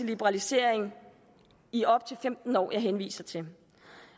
liberalisering i op til femten år jeg henviser til